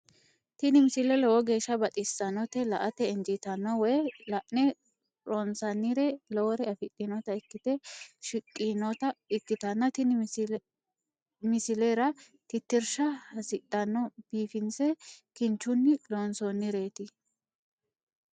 tini misile lowo geeshsha baxissannote la"ate injiitanno woy la'ne ronsannire lowore afidhinota ikkite shiqqinota ikkitanna tini misilera tittirsha hasidhanno biifinse kinchunni loonsoonnireeti.